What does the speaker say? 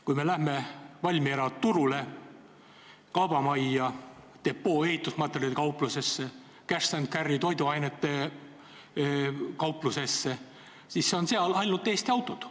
Kui me lähme Valmiera turule, kaubamajja, Depo ehitusmaterjalide kauplusesse, Cash & Carry toiduainete kauplusesse, siis näeme, et seal on ainult Eesti autod.